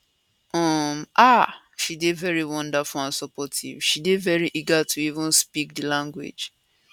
um ah she dey very wonderful and supportive she dey very eager to even speak di language